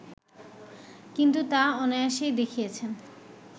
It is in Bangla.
কিন্তু তা অনায়াসেই দেখিয়েছেন